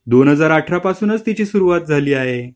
दोन हजार अठरा पासूनच तिची सुरुवात झाली आहे.